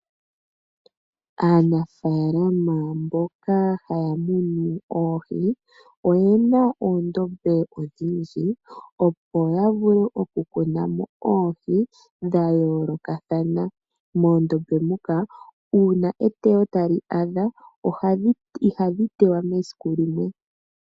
Aanafaalama mboka haya munu oohi oyena oondombe odhindji opo ya vule oku tula mo oohi dha yoolokathana. Moondombe muka uuna eyuulo lyoshilongo tali ya ihadhi yuulwa mo esiku limwe.